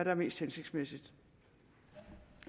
er mest hensigtsmæssigt